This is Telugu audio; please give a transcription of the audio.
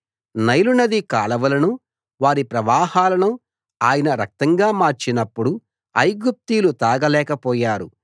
నైలునది కాలవలను వారి ప్రవాహాలను ఆయన రక్తంగా మార్చినప్పుడు ఐగుప్తీయులు తాగలేక పోయారు